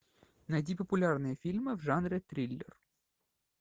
найди популярные фильмы в жанре триллер